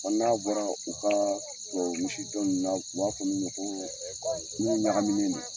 n'a bɔra u ka tubabu misi dɔ ninnu na u b'a fɔ min ma ko minnu ɲagaminnen do.